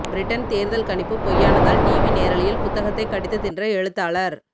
Britain தேர்தல் கணிப்பு பொய்யானதால் டிவி நேரலையில் புத்தகத்தை கடித்து தின்ற எழுத்தாளர்